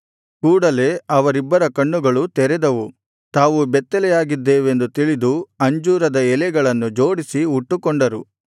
ಕೂಡಲೆ ಅವರಿಬ್ಬರ ಕಣ್ಣುಗಳು ತೆರೆದವು ತಾವು ಬೆತ್ತಲೆಯಾಗಿದ್ದೇವೆಂದು ತಿಳಿದು ಅಂಜೂರದ ಎಲೆಗಳನ್ನು ಜೋಡಿಸಿ ಉಟ್ಟುಕೊಂಡರು